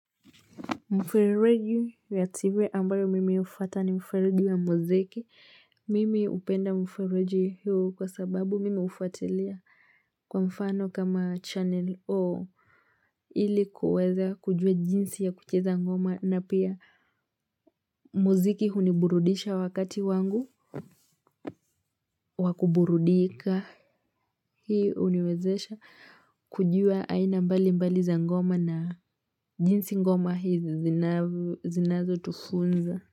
Mfereji ya tv ambayo mimi hufuata ni mfereji wa muziki. Mimi hupenda mfereji hiyo kwa sababu mimi hufuatilia kwa mfano kama channel O. Ili kuweza kujua jinsi ya kucheza ngoma na pia muziki huniburudisha wakati wangu wakuburudika. Hii huniwezesha kujua aina mbali mbali za ngoma na jinsi ngoma hizi zinazotufunza.